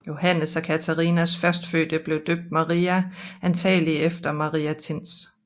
Johannes og Catharinas førstefødte blev døbt Maria antagelig efter Maria Thins